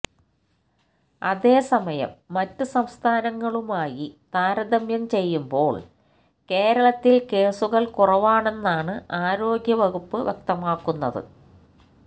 അതേ സമയം മറ്റ് സംസ്ഥാനങ്ങളുമായി താരതമ്യം ചെയ്യുമ്പോള് കേരളത്തില് കേസുകള് കുറവാണെന്നാണ് ആരോഗ്യവകുപ്പ് വ്യക്തമാക്കുന്നത്